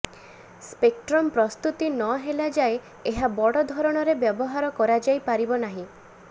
spectrum ପ୍ରସ୍ତୁତି ନହେଲା ଯାଏଁ ଏହା ବଡ ଧରଣରେ ବ୍ୟବହାର କରାଯାଇପାରିବ ନାହିଁ